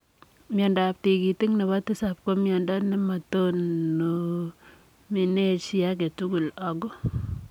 Miondoop tigitik nepoo tisaap ko miondoo nemotonimee chii agee tugul agoo